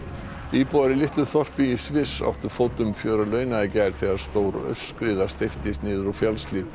íbúar í litlu þorpi í Sviss áttu fótum fjör að launa í gær þegar stór aurskriða steyptist niður úr fjallshlíð